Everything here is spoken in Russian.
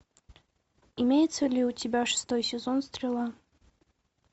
имеется ли у тебя шестой сезон стрела